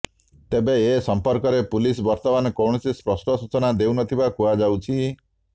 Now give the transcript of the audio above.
ତେବେ ଏ ସଂପର୍କରେ ପୁଲିସ ବର୍ତ୍ତମାନ କୌଣସି ସ୍ପଷ୍ଟ ସୂଚନା ଦେଉନଥିବା କୁହାଯାଉଛି